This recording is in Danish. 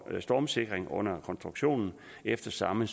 stormsikring under konstruktionen efter samme